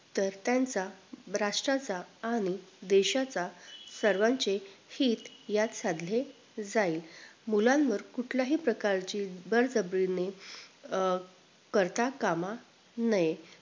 तर त्यांचा राष्ट्रांचा आणि देशाचा सर्वांचे हित यात साधले जाईल मुलांवर कुठल्याही प्रकारची बळजबरीने अं करता काम नये